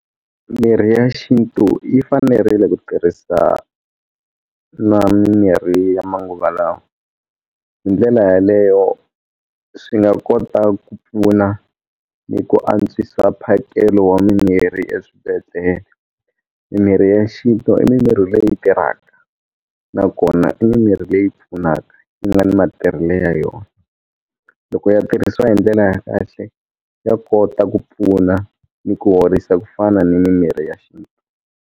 Mirhi ya xinto yi fanerile ku tirhisa na mimirhi ya manguva lawa hi ndlela yaleyo swi nga kota ku pfuna ni ku antswisa mphakelo wa mimirhi eswibedhlele mimirhi ya xinto i mimirhi leyi tirhaka nakona i mimirhi leyi pfunaka yi nga ni matirhelo ya yona loko ya tirhisiwa hi ndlela ya kahle ya kota ku pfuna ni ku horisa ku fana ni mimirhi ya xintu.